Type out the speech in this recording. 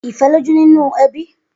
Ifè lójú ninú èbí